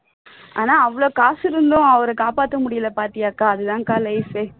ஆனா அவ்வளவு காசு இருந்தும் அவர காப்பாத்த முடியல பாத்தியா அக்கா அதுதான் அக்கா life ஏ